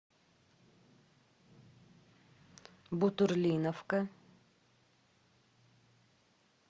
бутурлиновка